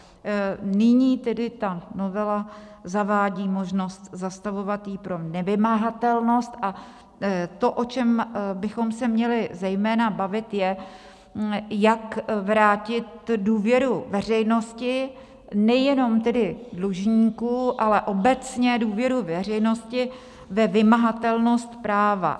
Nyní tedy ta novela zavádí možnost zastavovat ji pro nevymahatelnost a to, o čem bychom se měli zejména bavit, je, jak vrátit důvěru veřejnosti, nejenom tedy dlužníků, ale obecně důvěru veřejnosti ve vymahatelnost práva.